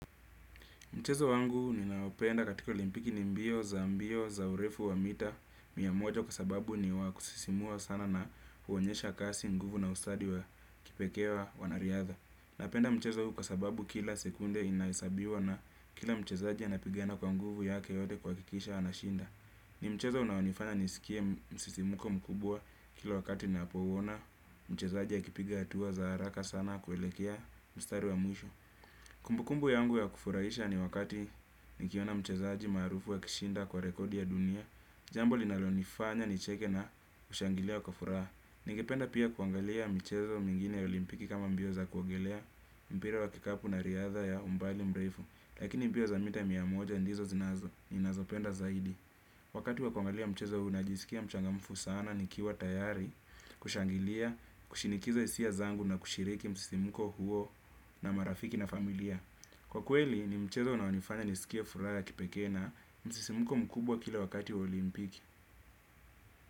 Mchezo wangu ninaopenda katika olimpiki ni mbio za mbio za urefu wa mita mia moja kwa sababu ni wa kusisimua sana na huonyesha kasi nguvu na ustadi wa kipekee wa wanariadha. Napenda mchezo huu kwa sababu kila sekunde inahesabiwa na kila mchezaji anapigana kwa nguvu yake yote kuhakikisha anashinda. Ni mchezo unaonifanya nisikie msisimko mkubwa kila wakati napouona mchezaji akipiga hatua za haraka sana kuelekea mstari wa mwisho. Kumbukumbu yangu ya kufuraisha ni wakati nikiona mchezaji maarufu akishinda kwa rekodi ya dunia. Jambo linalonifanya nicheke na kushangilia kwa furaha. Ningependa pia kuangalia mchezo mwingine ya olimpiki kama mbio za kuogelea mpira wa kikapu na riadha ya umbali mrefu. Lakini mbio za mita mia moja ndizo zinazo, ninazopenda zaidi. Wakati wa kuangalia mchezo huu najisikia mchangamfu sana nikiwa tayari. Kushangilia, kushinikiza hisia zangu na kushiriki msisimko huo na marafiki na familia. Kwa kweli ni mchezo unaonifanya nisikie furaha ya kipeke na msisimko mkubwa kila wakati wa olimpiki.